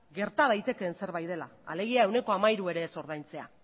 gerta daitekeen zerbait dela alegia ehuneko hamairua ere ez ordaintzea